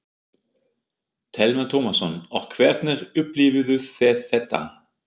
Telma Tómasson: Og hvernig upplifðuð þið þetta?